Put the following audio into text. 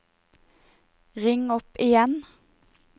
ring opp igjen